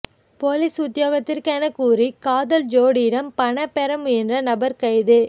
police உத்தியோகத்தரெனக் கூறி காதல் ஜோடியிடம் பணம் பெற முயன்ற நபர் கைது